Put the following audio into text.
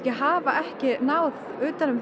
hafa ekki náð utan um